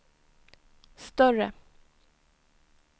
större